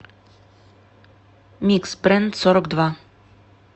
микс брэндсорокдва